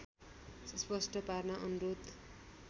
स्पष्ट पार्न अनुरोध